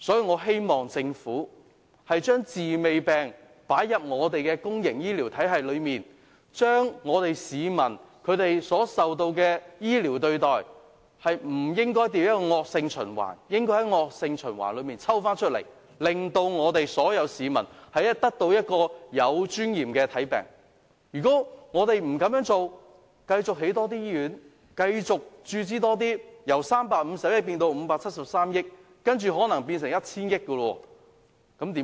我希望政府把"治未病"的概念用於公營醫療體系上，市民所遭受的醫療對待不應變成惡性循環，而應從惡性循環中抽出來，令所有市民能有尊嚴地獲得醫治，否則，即使政府繼續興建醫院或投入資源，由350億元增至573億元，接着可能又要增至 1,000 億元，那怎麼辦？